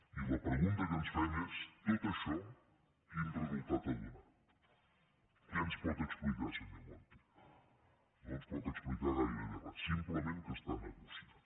i la pregunta que ens fem és tot això quin resultat ha donat què ens pot explicar senyor montilla no ens pot explicar gairebé res simplement que està negociant